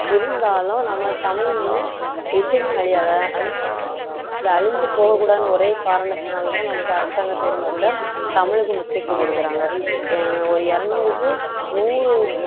இருந்தாலும் நம்ம தமிழ் வந்து எதுவுமே அழியாது அதனாலதான் இந்த அழிஞ்சு போகக் கூடாதுன்னு ஒரே காரணத்தினாலதான் நமக்கு அரசாங்கத் தேர்வுல கூட தமிழுக்கு முக்கியத்துவம் கொடுக்குறாங்க ஒரு இருநூறுக்கு நூறு